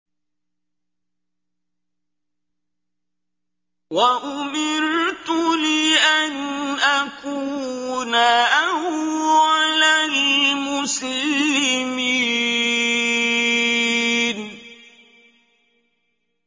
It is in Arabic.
وَأُمِرْتُ لِأَنْ أَكُونَ أَوَّلَ الْمُسْلِمِينَ